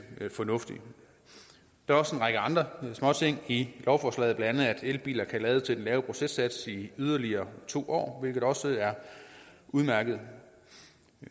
fornuftigt der er også en række andre småting i lovforslaget blandt andet at elbiler kan lade til den lave sats i yderligere to år hvilket også er udmærket